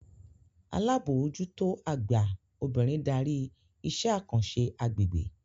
Alábòójútó àgbà obìnrin darí iṣẹ́ àkànṣe agbègbè